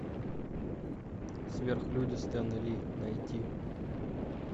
сверхлюди стена ли найди